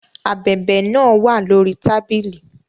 Ábèbè náà wà lórí tábìlì